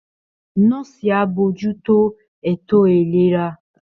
Nọ́ọ̀sì á bójú tó ètò ìlera